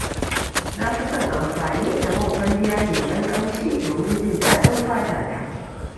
Na fi son amfani da man kwalliya mai ɗan ƙamshi domin jin daɗin fatata.